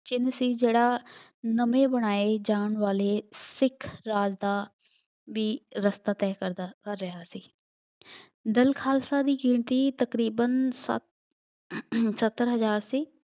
ਚਿੰਨ੍ਹ ਸੀ ਜਿਹੜਾ ਨਵੇਂ ਬਣਾਏ ਜਾਣ ਵਾਲੇ ਸਿੱਖ ਰਾਜ ਦਾ ਵੀ ਰਸਤਾ ਤੈਅ ਕਰਦਾ ਕਰ ਰਿਹਾ ਸੀ। ਦਲ ਖਾਲਸਾ ਦੀ ਗਿਣਤੀ ਤਕਰੀਬਨ ਸੱਤ ਸੱਤਰ ਹਜ਼ਾਰ ਸੀ।